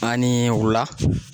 An ni wula.